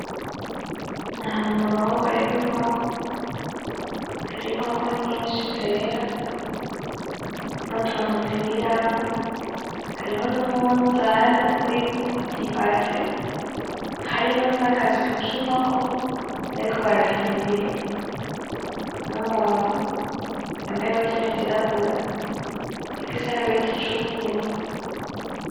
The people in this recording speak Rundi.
Ni ahantu mu ruhongore rw'inkoko, hari inkoko nyinshi zera n'utuntu ziriramwo. Hariho n'umwunzane uriko ibase, harimwo n'agaswi k'inkoko bariko barapimpa ibiro, n'umuntu yambaye ibutini zirabura n'igisarubeti c'ubururu.